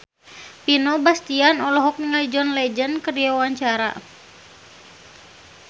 Vino Bastian olohok ningali John Legend keur diwawancara